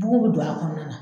Bugun bɛ don a kɔnɔna na.